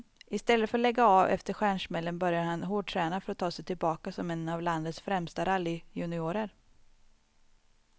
Istället för att lägga av efter stjärnsmällen började han hårdträna för att ta sig tillbaka som en av landets främsta rallyjuniorer.